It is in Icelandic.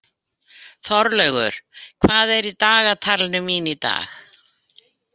Þorlaugur, hvað er í dagatalinu mínu í dag?